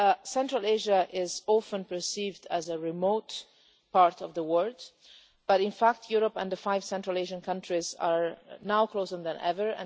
Central Asia is often perceived as a remote part of the world but, in fact, Europe and the five Central Asian countries are now closer than ever.